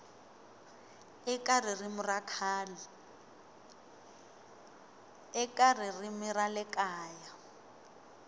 eka ririmi ra le kaya